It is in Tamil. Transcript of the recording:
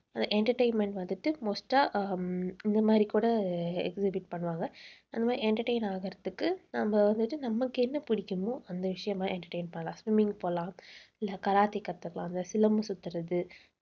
entertainment வந்துட்டு most ஆ ஹம் இந்த மாதிரி கூட பண்ணுவாங்க. அந்த மாதிரி entertain ஆகறதுக்கு நம்ம வந்துட்டு நமக்கு என்ன பிடிக்குமோ அந்த விஷயமா entertain போலாம். swimming pool இல்ல கராத்தே கத்துக்கலாம் இல்ல சிலம்பு சுத்தறது